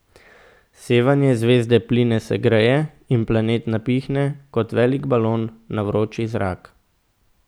Sevanje zvezde pline segreje in planet napihne kot velik balon na vroči zrak.